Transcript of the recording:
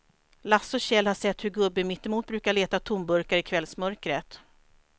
Lasse och Kjell har sett hur gubben mittemot brukar leta tomburkar i kvällsmörkret.